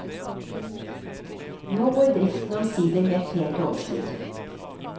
Nå går driften omsider med et pent overskudd.